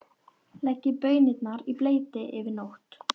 Leggið baunirnar í bleyti yfir nótt.